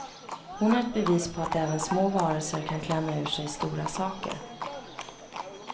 Hon är ett bevis på att även små varelser kan klämma ur sig stora saker.